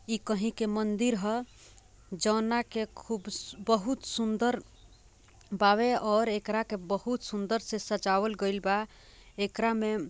ई कही के मंदिर ह जौना के खूब बहुत सुंदर बावे और इकरा के बोहोत सुंदर से सजाएल गएल बा इकरा मे--